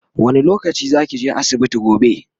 wani lokaci zakije asibiti gobe?